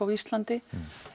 á Íslandi